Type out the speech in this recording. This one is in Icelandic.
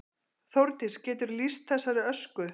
Þórdís: Geturðu lýst þessari ösku?